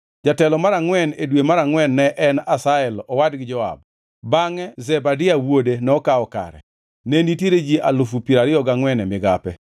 Jatelo mar angʼwen, e dwe mar angʼwen ne en Asahel owadgi Joab. Bangʼe Zebadia wuode nokawo kare. Ne nitiere ji alufu piero ariyo gangʼwen (24,000) e migape.